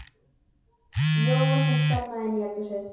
Jóa sem stormaði inn í eldhúsið.